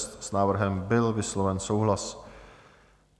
S návrhem byl vysloven souhlas.